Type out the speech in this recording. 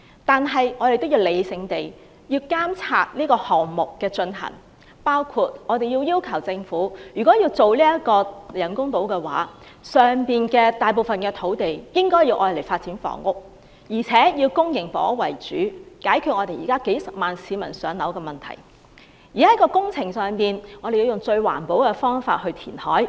不過，我們亦要理性地監察這個項目的推行，要求政府確保人工島建成後，大部分土地均作發展房屋之用，並要以公營房屋為主，解決現時幾十萬市民無法"上樓"的問題，並且要確保政府會採用最環保的方法填海。